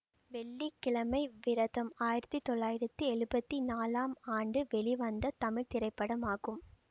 வெள்ளி கிழமை விரதம் ஆயிரத்தி தொள்ளாயிரத்தி எழுபத்தி நாலாம் ஆண்டு வெளிவந்த தமிழ் திரைப்படமாகும்